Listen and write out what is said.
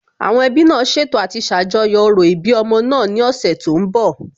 Àwọn ẹbí náà ṣètò àti ṣàjọyọ̀ òro ìbí ọmọ náà ní ọ̀sẹ̀ tó ń bọ̀